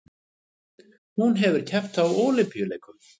Hún hefur keppt á Ólympíuleikum